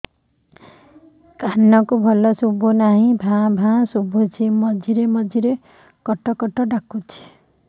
କାନକୁ ଭଲ ଶୁଭୁ ନାହିଁ ଭାଆ ଭାଆ ଶୁଭୁଚି ମଝିରେ ମଝିରେ କଟ କଟ ଡାକୁଚି